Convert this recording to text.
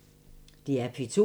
DR P2